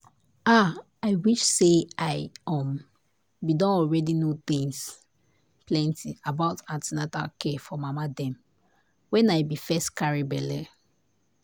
ah! i wish say i um been don already know plenty things about an ten atal care for mama dem wen i been first carry belle.